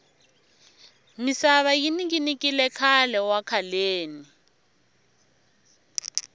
misava yi ninginikile khale wa khaleni